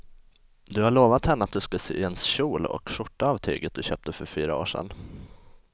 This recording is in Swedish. Du har lovat henne att du ska sy en kjol och skjorta av tyget du köpte för fyra år sedan.